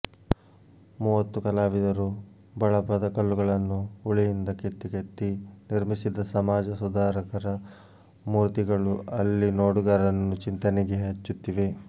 ಮೂವತ್ತು ಕಲಾವಿದರು ಬಳಪದ ಕಲ್ಲುಗಳನ್ನು ಉಳಿಯಿಂದ ಕೆತ್ತಿ ಕೆತ್ತಿ ನಿರ್ಮಿಸಿದ ಸಮಾಜ ಸುಧಾರಕರ ಮೂರ್ತಿಗಳು ಅಲ್ಲಿ ನೋಡುಗರನ್ನು ಚಿಂತನೆಗೆ ಹಚ್ಚುತ್ತಿವೆ